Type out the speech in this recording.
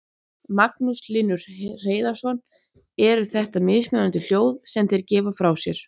Magnús Hlynur Hreiðarsson: Eru þetta mismunandi hljóð sem þeir gefa frá sér?